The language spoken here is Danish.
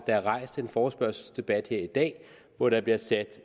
er rejst en forespørgselsdebat her i dag hvor der bliver sat